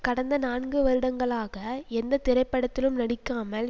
கடந்த நான்கு வருடங்களாக எந்த திரைப்படத்திலும் நடிக்காமல்